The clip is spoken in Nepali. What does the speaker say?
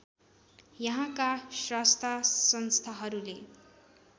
यहाँका स्रष्टा संस्थाहरूले